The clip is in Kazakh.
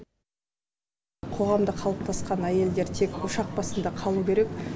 қоғамда қалыптасқан әйелдер тек ошақ басында қалу керек